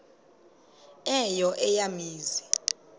eyo eya mizi